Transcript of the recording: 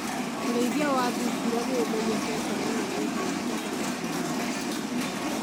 Ũrĩithia wa thungura nĩ ũmenyekte mũno nĩ ũndũ wa nyama na guoya wacio.